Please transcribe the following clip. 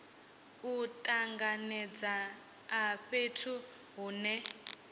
u tanganedza a fhethu hune